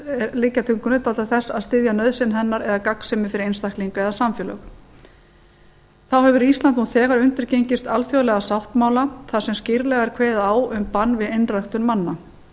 liggja til grundvallar þess að styðja nauðsyn hennar eða gagnsemi fyrir einstaklinga eða samfélög þá hefur ísland nú þegar undirgengist alþjóðlega sáttmála þar sem skýrlega er kveðið á um bann við einræktun manna